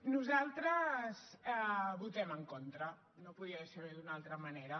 nosaltres hi votem en contra no podia ser d’una altra manera